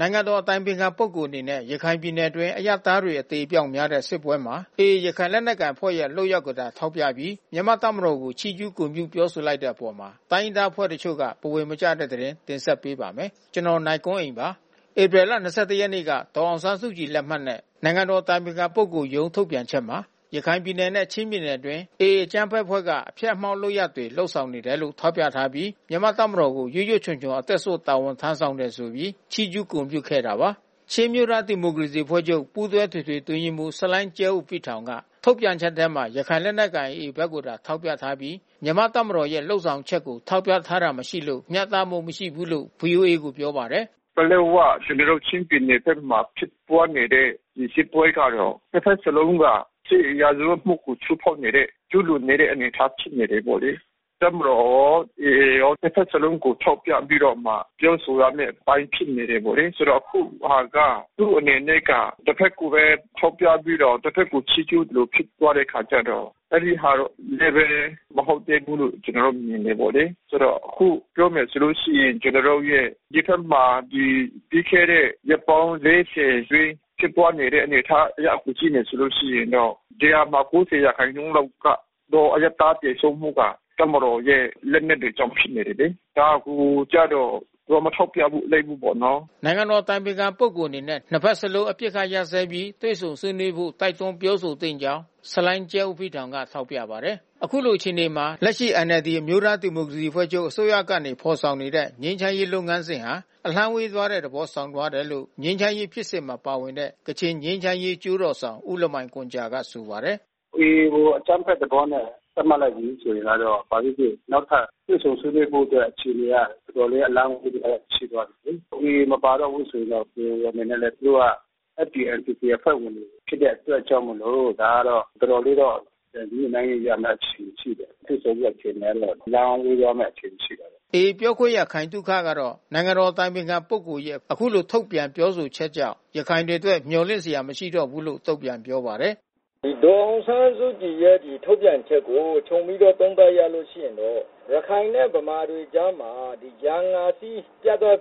နိုင်ငံတော်အတိုင်ခံပုဂ္ဂိုလ်အနေနဲ့ ရခိုင်ပြည်နယ်တွင်း အရပ်သားတွေအသေအပျောက်များနေတဲ့ စစ်ပွဲမှာ AA ရခိုင် လက်နက်ကိုင်အဖွဲ့ရဲ့ လုပ်ရပ်ကိုသာ ထောက်ပြပြီး မြန်မာတပ်မတော်ကို ချီးကျူးဂုဏ်ပြုပြောဆိုလိုက်တဲ့အပေါ် တိုင်းရင်းသားအဖွဲ့အချို့ ဘဝင်မကျဖြစ်နေတဲ့သတင်းကို ဗွီအိုအေမြန်မာပိုင်း သတင်းထောက် ကိုနိုင်ကွန်းအိန်က တင်ဆက်ပေးပါမယ်။ ဧပြီလ ၂၁ရက်နေ့က ဒေါ်အောင်ဆန်းစုကြည်လက်မှတ်နဲ့ နိုင်ငံတော်အတိုင်ပင်ခံပုဂ္ဂိုလ်ရုံးထုတ်ပြန်ချက်မှာ ရခိုင်ပြည်နယ်နဲ့ ချင်းပြည်နယ်အတွင်း AA အကြမ်းဖက်အဖွဲ့က အဖျက် အမှောင့်လုပ်ရပ်တွေ လုပ်ဆောင်နေတယ်လို့ ထောက်ပြပြီး မြန်မာ့တပ်မတော်ကို ရွတ်ရွတ်ချွံချွံ အသက်စွန့် တာဝန်ထမ်းဆောင်တယ်ဆိုပြီး ချီးကျူးဂုဏ်ပြုခဲ့တာပါ။ ချင်းအမျိုးသား ဒီမိုကရေစီအဖွဲ့ချုပ် ပူးတွဲအထွေထွေအတွင်းရေးမှူး ဆလိုင်းကျဲအိုဘိခ်ထောင်ကထုတ်ပြန်ချက်ထဲမှာ ရခိုင်လက်နက်ကိုင် AA ဘက်ကိုသာ ထောက်ပြထားပြီး မြန်မာ့တပ်မတော်ရဲ့လုပ်ဆောင်ချက်ကို ထောက်ပြထားတာမရှိလို့ မျှတမှုမရှိဘူးလို့ ဗွီအိုအေကို ပြောပါတယ်။ “ပလက်၀ ကျနော်တို့ ချင်းပြည်နယ်ဘက်မှာ ဖြစ်ပွါးနေတဲ့ စစ်ပွဲကတော့ နှစ်ဘက်စလုံးက စစ်ရာဇဝတ်မှုကို ချိုးဖေါက်နေတဲ့ ကျူးလွန်နေတဲ့ အနေအထားဖြစ်နေတယ်ပေါ့လေ။ အခုဟာက သူအနေနဲ့က တဘက်ကိုပဲ ထောက်ပြပြီးတော့ တဘက်ကို ချီးကျူးသလိုဖြစ်သွားတဲ့အခါကျတော့ အဲဒီဟာ မဟုတ်သေးဘူး ကျနော်တို့ မြင်တယ်။ ကျနော်တို့ရဲ့ ဒီဘက်မှာပြီးခဲ့တဲ့ ရက်ပေါင်း ၄၀ အတွင်း ဖြစ်ပွားခဲ့တဲ့ အနေအထားအရကြည့်မယ်ဆိုလို့ရှိရင်တော့ ၁၀၀ မှာ ၉၀ ရာခိုင်နှုန်းလောက်က အရပ်သားသေဆုံးမှုက တပ်မတော်ရဲ့ လက်နက်တွေကြောင့်ဖြစ်နေတယ်လေ။ ဒါကိုကျတော့ သူက မထောက်ပြလိုက်ဘူးပေါ့။” နိုင်ငံတော်အတိုင်ပင်ခံပုဂ္ဂိုလ်အနေနဲ့ နှစ်ဘက်စလုံး အပစ်ခတ်ရပ်စဲပြီး တွေ့ဆုံဆွေးနွေးဖို့ တိုက်တွန်းပြောဆိုသင့်ကြောင်း ဆလိုင်းကျဲအိုဘိခ်ထောင်က ထောက်ပြပါတယ်။ အခုလို အခြေအနေမှာ လက်ရှိ NLD အမျိုးသားဒီမိုကရေစီအဖွဲ့ချုပ်အစိုးရကနေ ဖေါ်ဆောင်နေတဲ့ ငြိမ်းချမ်းရေး လုပ်ငန်းစဉ်ဟာ အလှမ်းဝေးသွားတဲ့သဘော ဆောင်သွားတယ်လို့ ငြိမ်းချမ်းရေး ဖြစ်စဉ်မှာ ပါဝင်နေတဲ့ ကချင်ငြိမ်းချမ်းရေး အကျိုးတော်ဆောင် ဦးလမိုင်ဂွမ်ဂျာက ဆိုပါတယ်။ “AA ကိုအကြမ်းဖက်သဘောနဲ့ သတ်မှတ်လိုက်ပြီးဆိုရင်ကတော့ ဘာပဲဖြစ်ဖြစ် နောက်ထပ်တွေ့ဆုံ ဆွေးနွေးဖို့အတွက် တော်တော်လေး အလှမ်းဝေးသွားတယ်ဖြစ်သွားပြီလေ။ AA မပါတော့ဘူးဆိုရင်တော့ KIO အနေနဲ့လည်း သူတို့က FPNCC အဖွဲ့ဝင်တွေ ဖြစ်တဲ့အတွက်ကြောင့်မို့လို့ ဒါကတော့ တော်တော်လေးတော့ ပြန်ညှိနှိုင်းရမယ့် အခြေအနေ ရှိတယ်။ တွေ့ဆုံမယ့် အခြေအနေကတော့ အလှမ်းဝေးသွားမဲ့ အခြေအနေရှိတာပေါ့။” AA ပြောခွင့်ရ ခိုင်သုခကတော့ နိုင်ငံတော်အတိုင်ပင်ခံပုဂ္ဂိုလ်ရဲ့ အခုလို ထုတ်ပြန်ပြောဆိုချက်ကြောင့် ရခိုင်တွေအတွက် မျှော်လင့်စရာ မရှိတော့ဘူးလို့ တုံ့ပြန်ပြောပါတယ်။ “ဒေါ်အောင်ဆန်းစုကြည်ရဲ့ထုတ်ပြန်ချက်ကို ခြုံပြီးတော့ သုံးသပ်ရရင်တော့ ရခိုင်နဲ့ ဗမာတွေကြားမှာ ရန်ငါစည်း ပြတ်သွား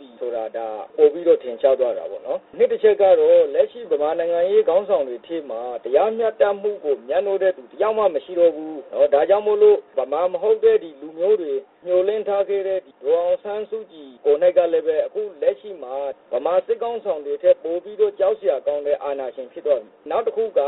တာ ပိုပြီးတော့ ထင်ရှားသွားတာပေါ့နော်။ နှစ်အချက်ကတော့ လက်ရှိ ဗမာနိုင်ငံရေးခေါင်းဆောင်တွေအထဲမှာ တရားမျှတမှုကို မြတ်နိုးတဲ့သူတယောက်မှ မရှိတော့ဘူး။ ဒါကြောင့်မို့လို့ ဗမာမဟုတ်တဲ့ လူမျိုးတွေ မျှော်လင့်ထားခဲ့တဲ့ ဒေါ်အောင်ဆန်းစုကြည် ကိုယ်နှိုက်ကလည်းပဲ အခုလက်ရှိမှာ ဗမာစစ်ခေါင်းဆောင်တွေထက်ပိုပြီးတော့ ကြောက်စရာ ကောင်းတဲ့အာဏာရှင်ဖြစ်သွားပြီး။ နောက်တခုက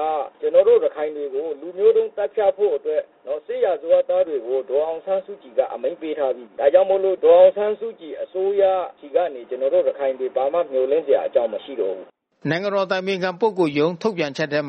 ကျနော်တို့ ရခိုင်တွေကို လူမျိုးတုန်းသတ်ဖြတ်ဖို့အတွက် စစ်ရာဇဝတ်သားတွေကို ဒေါ်အောင်ဆန်းစုကြည်က အမိန့်ပေးထားပြီ။ ဒါကြောင့်မို့လို့ ဒေါ်အောင်ဆန်းစုကြည် အစိုးရဆီကနေ ကျနော်တို့ ရခိုင်တွေ ဘာမှ မျှော်လင့်စရာအကြောင်းတွေ မရှိတော့ဘူး။” နိုင်ငံတော်အတိုင်ပင်ခံ ပုဂ္ဂိုလ်ရုံးထုတ်ပြန်ချက်ထဲ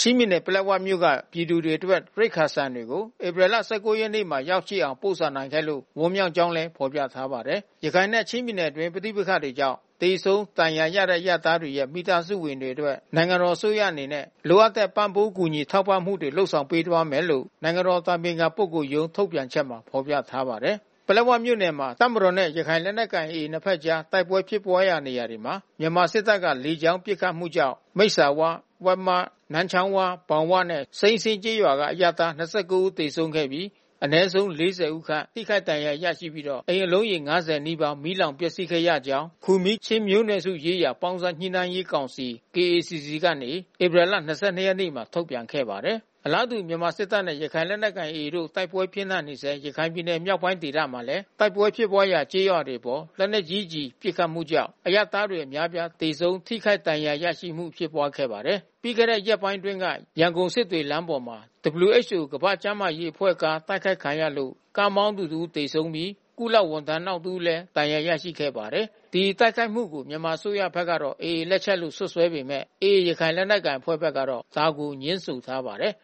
ချင်းပြည်နယ် ပလက်ဝမြို့နယ်မှ ပြည်သူတွေအတွက် ရိက္ခာ ဆန်တွေကို ဧပြီလ ၁၉ ရက်နေ့ မှာ ရောက်ရှိအောင် ပို့ဆောင်နိုင်ခဲ့လို့ ဝမ်းမြောက်ကြောင်းလည်း ဖော်ပြထားပါတယ်။ ရခိုင်နဲ့ ချင်းပြည်နယ်အတွင်း ပဋိပက္ခတွေကြောင့် သေဆုံး၊ ဒဏ်ရာရရှိခဲ့တဲ့ အရပ်သားတွေရဲ့ မိသားစုဝင်တွေအတွက် နိုင်ငံတော်အစိုးရအနေနဲ့ လိုအပ်တဲ့ ပံ့ပိုးကူညီ ထောက်ပံ့မှုတွေ ဆောင်ရွက်ပေးသွားမယ်လို့ နိုင်ငံတော်အတိုင်ပင်ခံ ပုဂ္ဂိုလ်ရုံး ထုတ်ပြန်ချက်မှာ ဖေါ်ပြထားပါတယ်။ ပလက်ဝမြို့နယ်မှာ တပ်မတော်နဲ့ ရခိုင်လက်နက်ကိုင် AA နှစ်ဘက်ကြား တိုက်ပွဲဖြစ်ပွားရာနေရာတွေမှာ မြန်မာစစ်တပ်က လေကြောင်း ပစ်ခတ်မှုကြောင့် မိတ်ဆာဝ၊ ဝက်မ၊ နန်းချောင်းဝ၊ ဘောင်ဝနဲ့ စိမ်းစင်းကျေးရွာကအရပ်သား ၂၉ ဦး သေဆုံးခဲ့ပြီး အနည်းဆုံး ၄၀ဦးခန့် ထိခိုက်ဒဏ်ရာရပြီးတော့ အိမ်အလုံးရေ ၅၀ နီးပါး မီးလောင်ပျက်စီးခဲ့ရကြောင်း ခူမီးချင်းမျိုးနွယ်စုရေးရာပေါင်းစပ်ညှိနှိုင်းရေးကောင်စီ ကနေ ဧပြီလ ၂၂ ရက်နေ့ ထုတ်ပြန်ခဲ့ ပါတယ်။ အလားတူ မြန်မာစစ်တပ်နဲ့ရခိုင်လက်နက်ကိုင် AA အဖွဲ့တို့ တိုက်ပွဲပြင်းထန်နေဆဲ ရခိုင်ပြည်နယ်မြောက်ပိုင်းဒေသမှာလည်း တိုက်ပွဲဖြစ်ပွားရာ ကျေးရွာတွေအပေါ် လက်နက်ကြီးကျည်ပစ်ခတ်မှုကြောင့် အရပ်သားတွေ အများအပြား သေဆုံးထိခိုက်ဒဏ်ရာရရှိမှု ဖြစ်ပွါးခဲ့ပါတယ်။ ပြီးခဲ့တဲ့ရက်ပိုင်းအတွင်းက ရန်ကုန် စစ်တွေလမ်းပေါ်မှာ WHO ကမ္ဘာ့ကျန်းမာရေး အဖွဲ့ကား တိုက်ခိုက်ခံရလို့ ကားမောင်းသူ တဦးသေဆုံးပြီး ကုလဝန်ထမ်းနောက်တဦး ဒဏ်ရာရခဲ့ပါတယ်။ ဒီတိုက်ခိုက်မှုကို မြန်မာအစိုးရဘက်ကတော့ AA လက်ချက်လို့ စွပ်စွဲပေမဲ့ AA ရခိုင်လက်နက်ကိုင်အဖွဲ့ဘက်ကတော့ ဒါကို ငြင်းဆန်ထားပါတယ်။